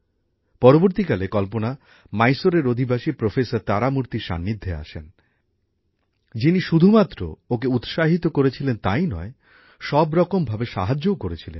পরবর্তীকালে কল্পনা মাইসোর এর অধিবাসী প্রফেসর তারামূর্তির সান্নিধ্যে আসেন যিনি শুধুমাত্র ওকে যে উৎসাহিত করেছিলেন তাই নয় সব রকম ভাবে সাহায্যও করেছিলেন